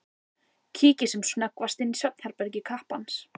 Kíkir sem snöggvast inn í svefnherbergi kappans.